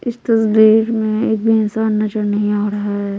इस तसवीर में एक भी इंसान नज़र नहीं आ रहा है।